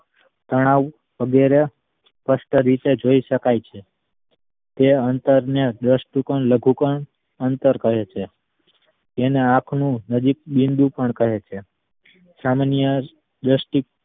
તણાવ વગેરે સ્પષ્ટ રીતે જોઈ શકાય છે તે અંતર ને દૃટિકોણ લઘુકોન અંતર કહે છે જેને આંખ નું નજીક બિંદુ પણ કહે છે સામાન્ય દ્રષ્ટિ